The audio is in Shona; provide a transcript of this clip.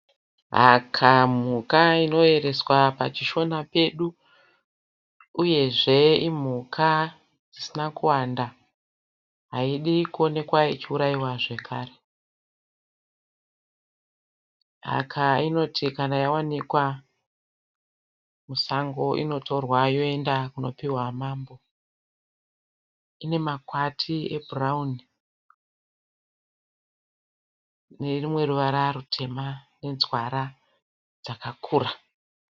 Haka mhuka inoyereswa pachishona pedu uyezve imhuka dzisina kuwanda. Haidi kuonekwa ichiuraiwa zvekare. Haka inoti kana yawanikwa musango inotorwa yoenda kunopihwa mambo. Inemakwati ebhurauni nerumwe ruvara rwutema nenzwara dzakakura.